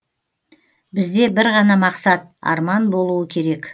бізде бір ғана мақсат арман болуы керек